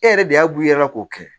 E yɛrɛ de y'a b'u yɛrɛ la k'o kɛ